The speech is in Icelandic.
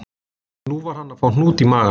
Nú var hann að fá hnút í magann